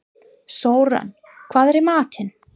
Sören, hvað er í matinn?